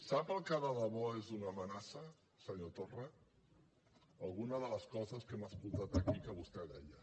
sap el que de debò és una amenaça senyor torra alguna de les coses que hem escoltat aquí que vostè deia